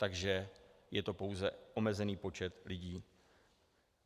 Takže je to pouze omezený počet lidí.